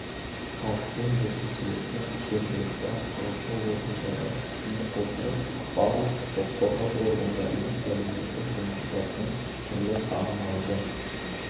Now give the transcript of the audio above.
халықпен жүргізіледі жергілікті атқарушы органдарға сүйене отырып барлық құқық қорғау органдарымен әлеуметтік жұмысшылармен түрлі коммуналды